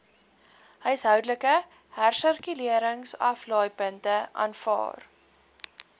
huishoudelike hersirkuleringsaflaaipunte aanvaar